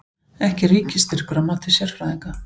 Ekki ríkisstyrkur að mati sérfræðinga